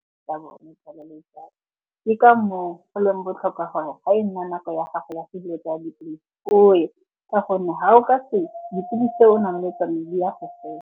Ke ka moo go leng botlhokwa gore ga e nna nako ya gago ya , o ye. Ka gonne ga o ka ye, dipilisi tse o nang le tsone di ya go fela.